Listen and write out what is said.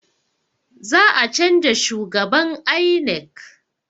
Za a canza shhugaban INEC